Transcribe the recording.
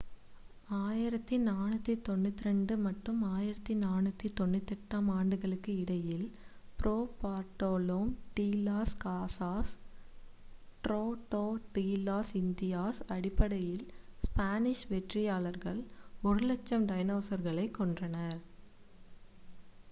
1492 மற்றும் 1498-ஆம் ஆண்டுகளுக்கு இடையில் Fray Bartolome de las Casas Tratado de las Indias அடிப்படையில் ஸ்பானிஷ் வெற்றியாளர்கள் 100,000 டைனோஸ்களைக் கொன்றனர்